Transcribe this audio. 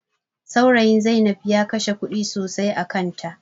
Saurayin Zai inab ya kashe kuɗi sosai a kan ta